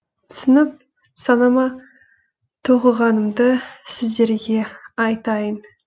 түсініп санама тоқығанымды сіздерге айтайын